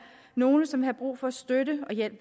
nogle som har brug for støtte og hjælp